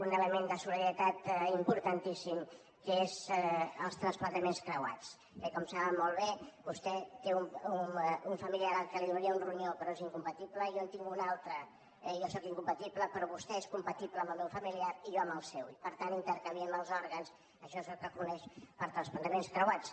un element de solidaritat importantíssim que són els trasplantaments creuats eh com saben molt bé vostè té un familiar a qui donaria un ronyó però és incompatible jo en tinc un altre i jo sóc incompatible però vostè és compatible amb el meu familiar i jo amb el seu i per tant intercanviem els òrgans això és el que es coneix com a trasplantaments creuats